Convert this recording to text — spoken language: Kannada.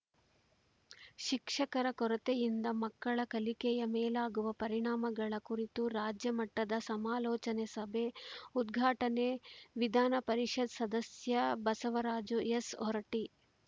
ಶಿಕ್ಷಕರ ಕೊರತೆಯಿಂದ ಮಕ್ಕಳ ಕಲಿಕೆಯ ಮೇಲಾಗುವ ಪರಿಣಾಮಗಳ ಕುರಿತು ರಾಜ್ಯ ಮಟ್ಟದ ಸಮಾಲೋಚನಾ ಸಭೆ ಉದ್ಘಾಟನೆ ವಿಧಾನಪರಿಷತ್‌ ಸದಸ್ಯ ಬಸವರಾಜು ಎಸ್‌ಹೊರಟ್ಟಿ